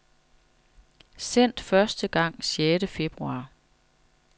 Sendt første gang sjette februar.